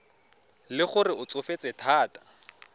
le gore o tsofetse thata